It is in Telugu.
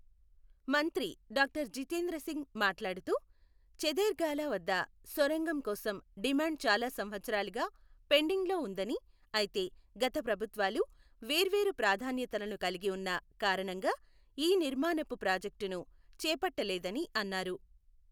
మంత్రి డాక్టర్ జితేంద్ర సింగ్ మాట్లాడుతూ ఛథేర్గాలా వద్ద సొరంగం కోసం డిమాండ్ చాలా సంవత్సరాలుగా పెండింగ్లో ఉందని అయితే గత ప్రభుత్వాలు వేర్వేరు ప్రాధాన్యతలను కలిగి ఉన్న కారణంగా ఈ నిర్మాణపు ప్రాజెక్టును చేపట్టలేదని అన్నారు.